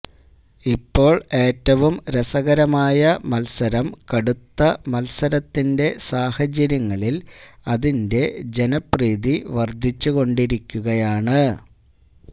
ഇപ്പോൾ ഏറ്റവും രസകരമായ മത്സരം കടുത്ത മത്സരത്തിന്റെ സാഹചര്യങ്ങളിൽ അതിന്റെ ജനപ്രീതി വർധിച്ചുകൊണ്ടിരിക്കുകയാണ്